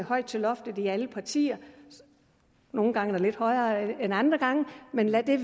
højt til loftet i alle partier og nogle gange er der lidt højere end andre gange men lad det